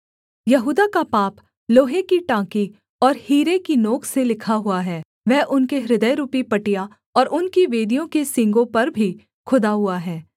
यहूदा का पाप लोहे की टाँकी और हीरे की नोक से लिखा हुआ है वह उनके हृदयरूपी पटिया और उनकी वेदियों के सींगों पर भी खुदा हुआ है